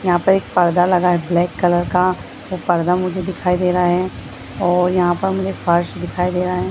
यहां पर पर्दा लगा है ब्लैक कलर का | वह पर्दा मुझे दिखाई दे रहा है और यहां पर मुझे फर्श दिखाई दे रहा है।